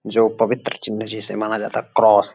जो पवित्र चिन्ह जिसे माना जाता है क्रॉस ।